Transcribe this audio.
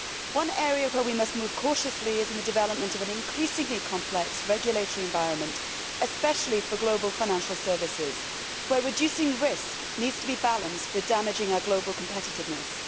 One area where we must move cautiously is in the development of an increasingly complex regulatory environment, especially for global financial services, where reducing risk needs to be balanced with damaging our global competitiveness.